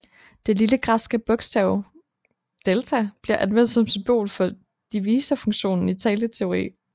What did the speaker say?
Det lille græske bogstav σ bliver anvendt som symbol for divisorfunktionen i talteori